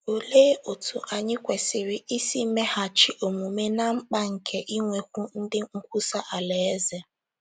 Olee otú anyị kwesịrị isi meghachi omume ná mkpa nke inwekwu ndị nkwusa Alaeze?